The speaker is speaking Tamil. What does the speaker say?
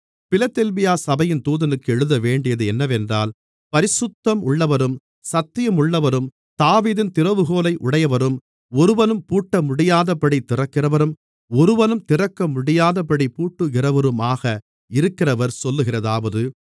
பிலதெல்பியா சபையின் தூதனுக்கு எழுதவேண்டியது என்னவென்றால் பரிசுத்தம் உள்ளவரும் சத்தியம் உள்ளவரும் தாவீதின் திறவுகோலை உடையவரும் ஒருவனும் பூட்டமுடியாதபடி திறக்கிறவரும் ஒருவனும் திறக்கமுடியாதபடி பூட்டுகிறவருமாக இருக்கிறவர் சொல்லுகிறதாவது